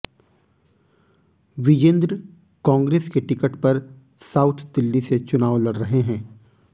विजेंद्र कांग्रेस के टिकट पर साउथ दिल्ली से चुनाव लड़ रहे हैं